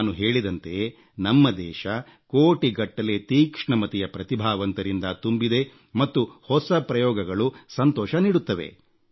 ನಾನು ಹೇಳಿದಂತೆ ನಮ್ಮ ದೇಶ ಕೋಟಿಗಟ್ಟಲೆ ತೀಕ್ಷ್ಣಮತಿಯ ಪ್ರತಿಭಾವಂತರಿಂದ ತುಂಬಿದೆ ಮತ್ತು ಹೊಸ ಪ್ರಯೋಗಗಳು ಸಂತೋಷ ನೀಡುತ್ತವೆ